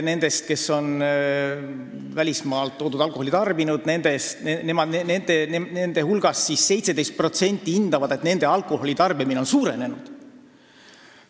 Nendest, kes on välismaalt toodud alkoholi tarbinud, on 17% arvates nende alkoholi tarbimine suurenenud.